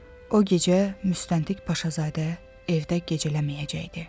O gecə müstəntiq Paşazadə evdə gecələməyəcəkdi.